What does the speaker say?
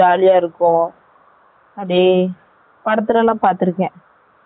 அப்டியெ படதுல லாம் பாதுருக்கேன் jolly யா,